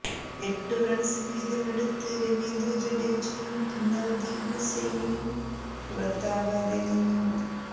എട്ടു റണ്സ് വീതമെടുത്ത് രവീന്ദ്ര ജഡേജയും നവ്ദീപ് സെയ്നിയും പുറത്താകാതെ നിന്നു